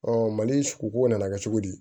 mali suku nana kɛ cogo di